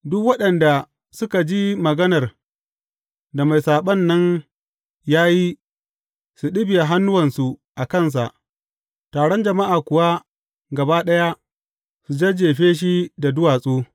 Duk waɗanda suka ji maganar da mai saɓon nan ya yi su ɗibiya hannuwansu a kansa, taron jama’a kuwa gaba ɗaya su jajjefe shi da duwatsu.